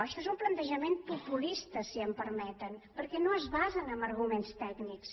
això és un plantejament populistaperquè no es basen en arguments tècnics